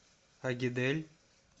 агидель